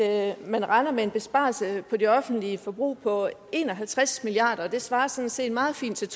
at man regner med en besparelse på det offentlige forbrug på en og halvtreds milliard kr og det svarer sådan set meget fint til